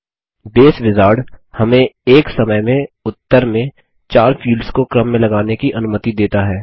base wizard हमें एक समय में उत्तर में 4 फील्ड्स को क्रम में लगाने की अनुमति देता है